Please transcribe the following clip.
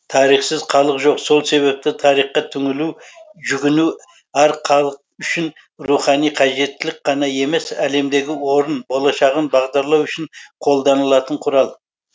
тарихсыз халық жоқ сол себепті тарихқа түңілу жүгіну әр халық үшін рухани қажеттілік қана емес әлемдегі орнын болашағын бағдарлау үшін қолданылатын құрал